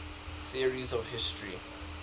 theories of history